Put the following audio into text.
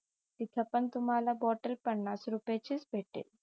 तिथपण तुम्हाला बॉटल पन्नास रुपयाची च भेटेल